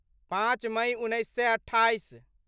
पाँच मइ उन्नैस सए अट्ठाइस